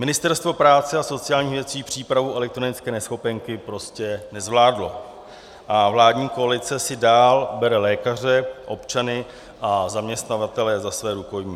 Ministerstvo práce a sociálních věcí přípravu elektronické neschopenky prostě nezvládlo a vládní koalice si dál bere lékaře, občany a zaměstnavatele za svá rukojmí.